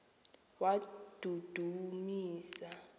wadudumisa